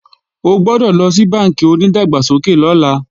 O gbọ́dọ̀ lọ sí bánkì onídàgbàsókè lọ́la